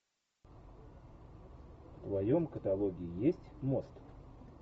в твоем каталоге есть мост